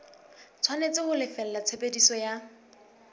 tshwanetse ho lefella tshebediso ya